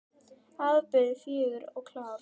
Afburða fögur og klár.